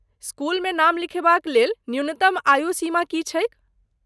स्कूलमे नाम लिखेबाक लेल न्यूनतम आयू सीमा की छैक?